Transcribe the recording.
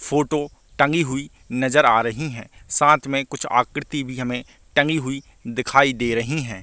Photo टगी हुई नजर आ रही है साथ में कुछ आकृति भी हमे टगी हुई दिखाई दे रही है।